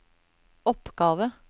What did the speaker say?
oppgave